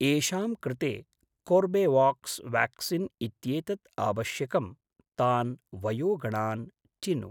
येषां कृते कोर्बेवाक्स् व्याक्सीन् इत्येतत् आवश्यकं तान् वयोगणान् चिनु।